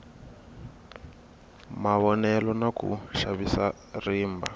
mavonelo na ku xavisa rimba